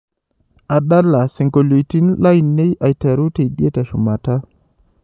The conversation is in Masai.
adala siongoliotin lainei aiteru tidie teshumata